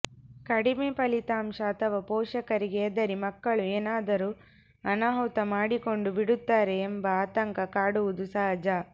ಕಡಿಮೆ ಫಲಿತಾಂಶ ಅಥವಾ ಪೋಷಕರಿಗೆ ಹೆದರಿ ಮಕ್ಕಳು ಏನಾದರೂ ಅನಾಹುತ ಮಾಡಿಕೊಂಡು ಬಿಡುತ್ತಾರೆ ಎಂಬ ಆತಂಕ ಕಾಡುವುದು ಸಹಜ